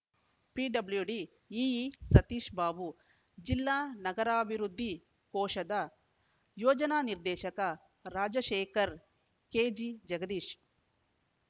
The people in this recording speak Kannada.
ಪಿಡಬ್ಲ್ಯೂಡಿ ಇಇ ಸತೀಶ್‌ಬಾಬು ಜಿಲ್ಲಾ ನಗರಾಭಿವೃದ್ಧಿ ಕೋಶದ ಯೋಜನಾ ನಿರ್ದೇಶಕ ರಾಜಶೇಖರ್‌ ಕೆಜಿಜಗದೀಶ್‌